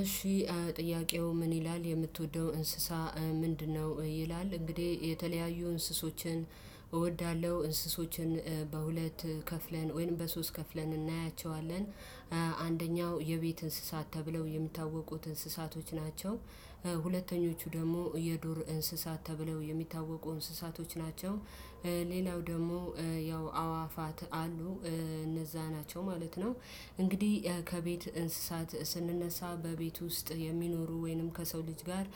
እሺ ጥያቄው ምን ይላል የምትወደው እንስሳ ምንድነው? ይላል እንግዲህ የተለያዩ እንስሶችን እወዳለሁ እንስሶችን በሁለት ከፍለን ወይም በሶስት ከፍለን እናያቸዋለን የቤት እንስሳት ተብለው የምታወቁት እንስሳቶች ናቸው ሁለተኞቹ ደግሞ የዱር እንስሳት ተብለው የሚታወቁ እንስሳቶች ናቸው ሌላው ደግሞ ያው አዋፋት አሉ እነዛ ናቸው ማለት ነው እንግዲህ ከቤት እንስሳት ስንነሳ በቤት ውስጥ የሚኖሩ ወይንም ከሰው ልጅ ጋር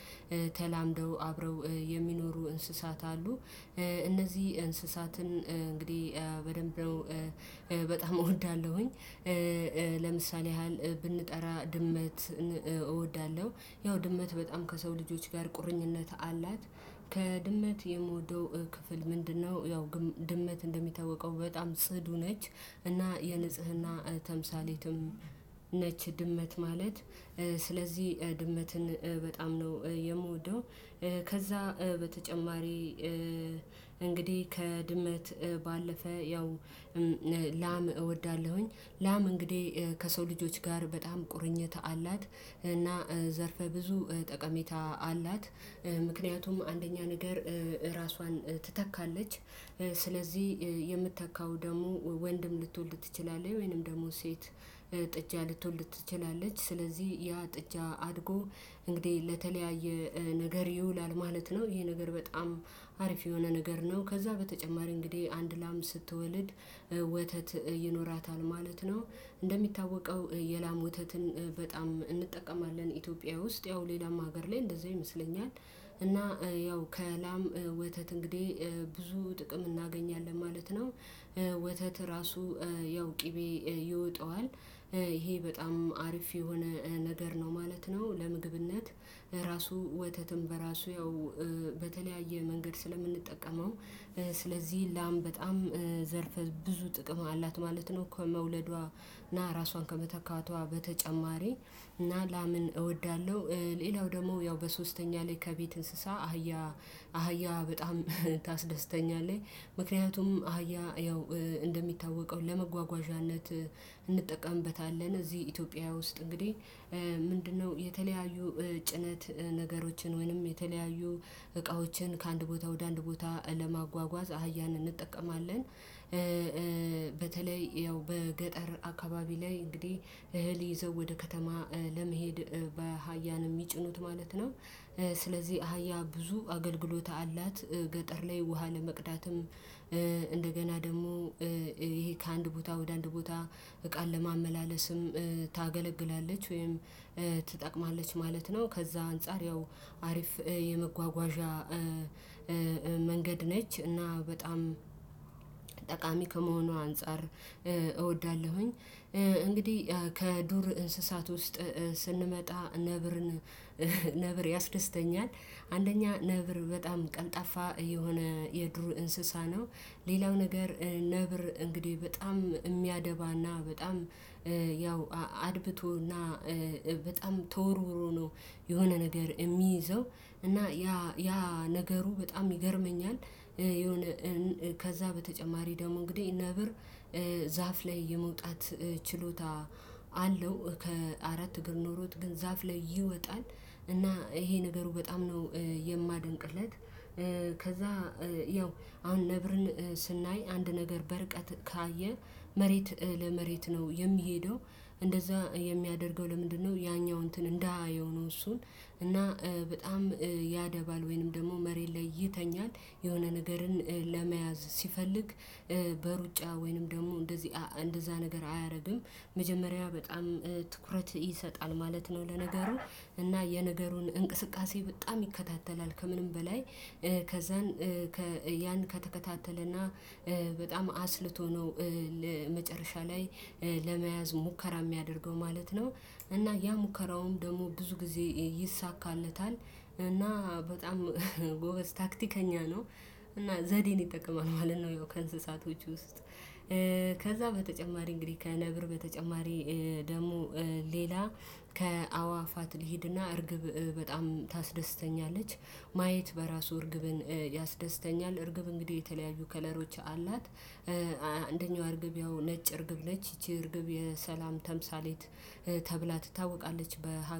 ተላምደው አብረው የሚኖሩ እንስሳት አሉ እነዚህ እንስሳትን እንግዲህ በደንብ በጣም እወዳለሁኝ ለምሳሌ ያህል ብንጠራ ድመት እወዳለሁ ያው ድመት በጣም ከሰው ልጆች ጋር ቁርኝነት አላት ከድመት የምወደው ክፍል ምንድነው ያው ድመት እንደሚታወቀው በጣም ጽዱ ነች እና የንጽህና ተምሳሌትም ነች ድመት ማለት ስለዚህ ድመትን በጣም ነው የምወደው ከዛ በተጨማሪ እንግዲህ ከድመት ባለፈ ያው ላም እወዳለሁኝ ላም እንግዲህ ከሰው ልጆች ጋር በጣም ቁርኝት አላት እና ዘርፈ ብዙ ጠቀሜታ አላት ምክንያቱም አንደኛ ነገር ራሷን ትተካለች ስለዚህ የምተካው ደግሞ ወንድም ልትወልድ ትችላለች ወይንም ደግሞ ሴት ጥጃ ልትወልድ ትችላለች ስለዚህ ያ ጥጃ አድጎ እንግዲህ ለተለያየ ነገር ይውላል ማለት ነው ይሄ ነገር በጣም አሪፍ የሆነ ነገር ነው ከዛ በተጨማሪ እንግዲህ አንድ ላም ስትወልድ ወተት ይኖራታል ማለት ነው። እንደሚታወቀው የላም ወተትን በጣም እንጠቀማለን ኢትዮጵያ ውስጥ ያው ሌላም ሀገር ላይ እንደዚህ አይመስለኝም እና ያው ከላም ወተት እንግዲህ ብዙ ጥቅም እናገኛለን ማለት ነው። ወተት ራሱ ያው ቅቤ ይወጣዋል ይሄ በጣም አርፊ የሆነ ነገር ነው ማለት ነው። ለምግብነት ራሱ ወተትም በራሱ ያው በተለያየ መንገድ ስለምንጠቀመው ላም በጣም ዘርፍ ብዙ ጥቅም አላት ማለት ነው። ከመውለዷ እና ራሷን ከመተካቷ በተጨማሪ እና ለአምን እወዳለሁ ሌላው ደግሞ ያው በሶስተኛ ላይ ከቤት እንስሳ አህያ አህያ በጣም ታስደስተኛለህ ምክንያቱም አህያ ያው እንደሚታወቀው ለመጓጓዣነት እንጠቀምበታለን እዚህ ኢትዮጵያ ውስጥ እንግዲህ ምንድነው የተለያዩ ጭነት ነገሮችን ወይንም የተለያዩ እቃዎችን ከአንድ ቦታ ወደ አንድ ቦታ ለማጓጓዝ አህያንን እንጠቀማለን። በተለይ ያው በገጠር አካባቢ ላይ እንግዲህ እህል ይዘው ወደ ከተማ ለመሄድ በሀያን የሚጭኑት ማለት ነው። ስለዚህ አሀያ ብዙ አገልግሎት አላት ገጠር ላይ ውሃ ለመቅዳትም እንደገና ደግሞ ይሄ ከአንድ ቦታ ወደ አንድ ቦታ እቃን ለማመላለስም ታገለግላለች ወይም ትጠቅማለች ማለት ነው ከዛ አንፃር ያው አሪፍ የመጓጓዣ መንገድ ነች እና በጣም ጠቃሚ ከመሆኑ አንፃር እወዳለሁኝ እንግዲህ ከዱር እንስሳት ውስጥ ስንመጣ ነብርን ነብር ያስደስተኛል አንደኛ ነብር በጣም ቀልጣፋ የሆነ የድሩ እንስሳ ነው ሌላው ነገር ነብር እንግዲህ በጣም የሚያደባና በጣም ያው አድብቶና በጣም ተወርውሮ ነው የሆነ ነገር የሚይዘው እና ያ ያ ነገሩ በጣም ይገርመኛል የሆነ ከዛ በተጨማሪ ደግሞ እንግዲህ ነብር ዛፍ ላይ የመውጣት ችሎታ አለው ከአራት እግር ኖሮት ግን ዛፍ ላይ ይወጣል እና ይሄ ነገሩ በጣም ነው የማደንቅለት ከዛ ያው አሁን ነብርን ስናይ አንድ ነገር በርቀት ካየ መሬት ለመሬት ነው የሚሄደው እንደዛ የሚያደርገው ለምንድነው ያኛው እንትን እንዳየው ነው እሱን እና በጣም ያደባል ወይንም ደግሞ መሬት ላይ ይተኛል የሆነ ነገርን ለመያዝ ሲፈልግ በሩጫ ወይንም ደግሞ እንደዚህ እንደዛ ነገር አያደርግም መጀመሪያ በጣም ትኩረት ይሰጣል ማለት ነው። ለነገሩ እና የነገሩን እንቅስቃሴ በጣም ይከታተላል ከምንም በላይ ከዛን ያን ከተከታተለና በጣም አስልቶ ነው መጨረሻ ላይ ለመያዝ ሙከራ የሚያደርገው ማለት ነው። እና ያ ሙከራውም ደግሞ ብዙ ጊዜ ይይሳካነታል እና በጣም ጎበዝ ታክቲከኛ ነው እና ዘዴን ይጠቀማል ማለት ነው። ያው ከእንስሳቶቹ ውስጥ ከዛ በተጨማሪ እንግዲህ ከነብር በተጨማሪ ደግሞ ሌላ ከአዋፋት ልሂድና እርግብ በጣም ታስደስተኛለች ማየት በራሱ እርግብን ያስደስተኛል እርግብ እንግዲህ የተለያዩ ከለሮች አላት አንደኛው እርግብ ያው ነጭ እርግብ ነች ይቺ እርግብ የሰላም ተምሳሌት ተብላ ትታወቃለች በሀገር